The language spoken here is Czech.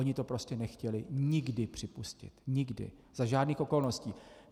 Oni to prostě nechtěli nikdy připustit, nikdy, za žádných okolností.